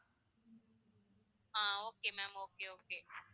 ah okay ma'am okay okay